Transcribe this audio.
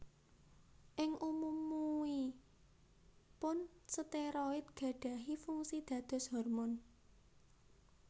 Ing umumuipun steroid gadahi fungsi dados hormon